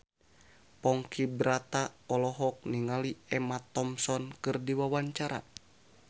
Ponky Brata olohok ningali Emma Thompson keur diwawancara